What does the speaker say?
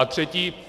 A třetí.